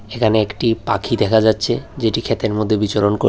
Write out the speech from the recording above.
এখানে একটি পাখি দেখা যাচ্ছে যেটি ক্ষেতের মধ্যে বিচরণ কর--